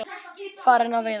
Farin á veiðar.